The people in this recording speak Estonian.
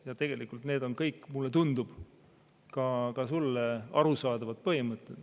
Ja tegelikult need on kõik, mulle tundub, ka sulle arusaadavad põhimõtted.